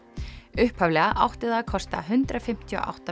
upphaflega átti það að kosta hundrað fimmtíu og átta